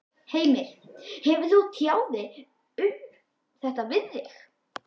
Heimir: Hefur hún tjáð sig um þetta við þig?